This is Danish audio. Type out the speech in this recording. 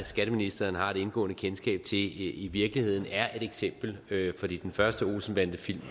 skatteministeren har et indgående kendskab til i virkeligheden er et eksempel fordi den første olsen bandenfilm